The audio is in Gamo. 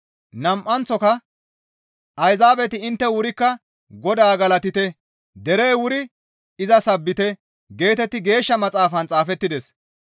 Nam7anththoka, «Ayzaabeti intte wurikka Godaa galatite; derey wuri iza sabbite» geetetti Geeshsha Maxaafan xaafettides.